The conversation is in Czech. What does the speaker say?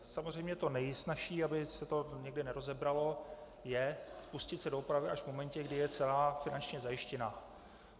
Samozřejmě to nejsnazší, aby se to nikdy nerozebralo, je pustit se do opravy až v momentě, kdy je celá finančně zajištěna.